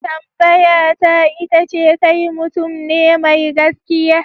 Tambayata ita ce kai mutum ne mai gaskiya?